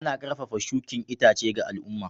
Ana karfafa shukin itace ga al'umma.